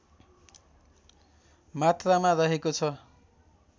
मात्रामा रहेको छ